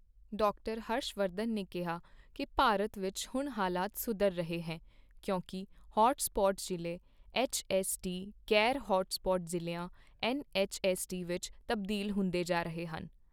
Doctor Harsh Vardhan ਨੇ ਕਿਹਾ ਕੀ ਭਾਰਤ ਵਿੱਚ ਹੁਣ ਹਾਲਤ ਸੁਧਰ ਰਹੀ ਹੈ ਕਿਉਂਕਿ ਹੌਟ ਸਪੌਟ ਜ਼ਿਲ੍ਹੇ ਐੱਚਐੱਸਡੀ ਹੁਣ ਗ਼ੈਰ ਹੌਟ ਸਪੌਟ ਜ਼ਿਲ੍ਹਿਆਂ ਐੱਨਐੱਚਐੱਸਡੀ ਵਿੱਚ ਤਬਦੀਲ ਹੁੰਦੇ ਜਾ ਰਹੇ ਹਨ।